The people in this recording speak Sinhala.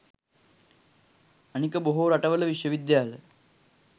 අනික බොහෝ රටවල විශ්ව විද්‍යාල